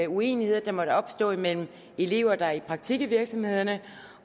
uenigheder der måtte opstå mellem elever der er i praktik i virksomhederne